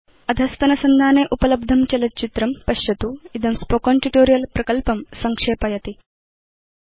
अधस्तनसंधाने उपलब्धं चलच्चित्रं पश्यतु httpspoken tutorialorgWhat is a spoken tutorial इदं स्पोकेन ट्यूटोरियल् प्रकल्पं संक्षेपयति